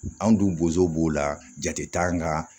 Anw dun bozow b'o la jate t'an ka